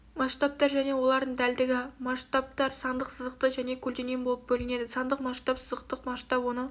масштабтар және олардың дәлдігі масштабтар сандық сызықтық және көлденең болып бөлінеді сандық масштаб сызықтық масштаб оны